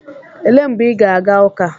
Elee mgbe ị ga-aga ụka?